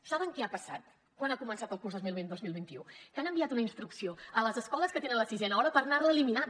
saben què ha passat quan ha començat el curs dos mil vint dos mil vint u que han enviat una instrucció a les escoles que tenen la sisena hora per anar la eliminant